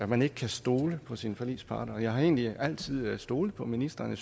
man ikke kan stole på sine forligspartnere og jeg har egentlig altid stolet på ministeren